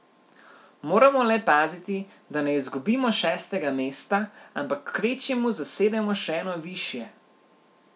Moramo le paziti, da ne izgubimo šestega mesta, ampak kvečjemu zasedemo še eno višje.